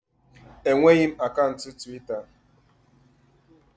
Enweghị m akaụntụ Twita